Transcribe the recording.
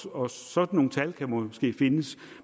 og sådan nogle tal kan måske findes